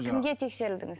кімге тексерілдіңіз